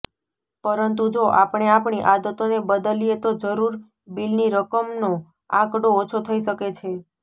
પરંતુ જો આપણે આપણી આદતોને બદલીએ તો જરૂર બીલની રકમનો આંકડો ઓછો થઈ શકે છે